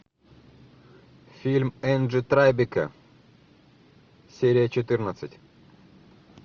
фильм энджи трайбека серия четырнадцать